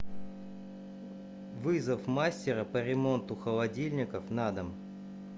вызов мастера по ремонту холодильников на дом